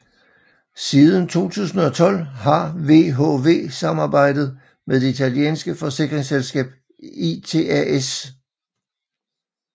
Siden 2012 har VHV samarbejdet med det italienske forsikringsselskab ITAS